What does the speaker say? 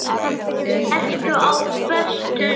Ertu á föstu núna?